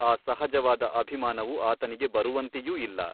ಆ ಸಹಜವಾದ ಅಭಿಮಾನವು ಆತನಿಗೆ ಬರುವಂತೆಯೂ ಇಲ್ಲ.